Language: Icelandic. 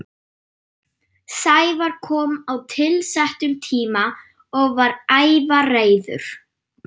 Sævar kom á tilsettum tíma og var ævareiður.